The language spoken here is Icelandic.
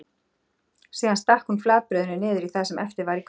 Síðan stakk hún flatbrauðinu niður í það sem eftir var í könnunni.